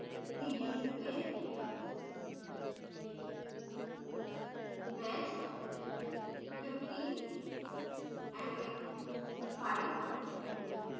cd space wedge15ma5